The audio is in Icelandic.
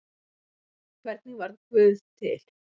Hvernig varð guð til?